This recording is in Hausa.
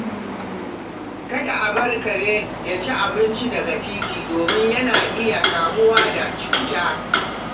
Kada a bar kare ya ci abinci daga titi domin yana iya kamuwa da cuta.